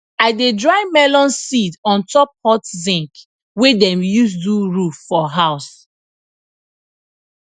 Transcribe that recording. i dey dry melon seed on top hot zinc wey dem use do roof for house